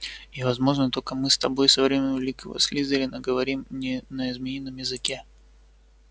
и возможно только мы с тобой со времён великого слизерина говорим не на змеином языке